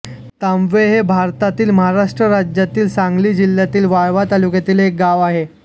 तांबवे हे भारतातील महाराष्ट्र राज्यातील सांगली जिल्ह्यातील वाळवा तालुक्यातील एक गाव आहे